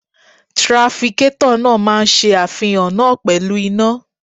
Trafikétọ̀ náà máa ṣe àfihàn náà pẹ̀lú iná.